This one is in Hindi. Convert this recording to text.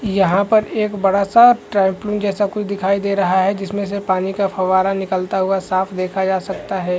यहाँ पर एक बड़ा सा ट्रैम्पोलिन जैसा कुछ दिखाई दे रहा है जिसमे से पानी का फव्वारा निकलता हुआ साफ़ देख जा सकता है।